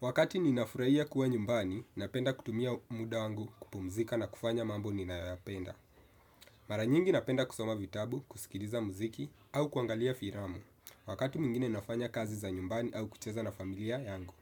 Wakati ninafurahia kuwa nyumbani, napenda kutumia muda wangu kupumzika na kufanya mambo ninayo yapenda. Maranyingi napenda kusoma vitabu, kusikiliza muziki au kuangalia filamu. Wakati mwingine nafanya kazi za nyumbani au kucheza na familia yangu.